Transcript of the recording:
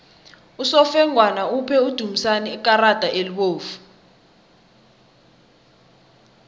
usofengwana uphe udumisani ikarada elibovu